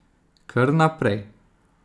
Kr naprej ...